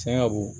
Tiɲɛna wo